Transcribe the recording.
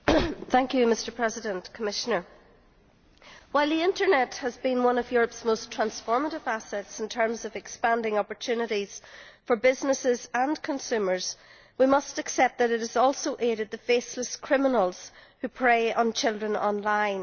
Mr President, while the internet has been one of Europe's most transformative assets in terms of expanding opportunities for businesses and consumers, we must accept that it has also aided the faceless criminals who prey on children online.